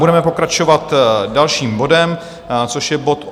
Budeme pokračovat dalším bodem, což je bod